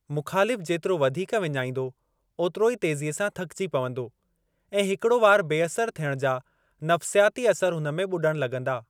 मुख़ालिफ़ जेतिरो वधीक विञाईंदो, ओतिरो ई तेज़ीअ सां थकिजी पंवदो, ऐं हिकिड़ो वार बेअसर थियण जा नफ़्सियाती असर हुन में ॿुॾणु लॻंदा।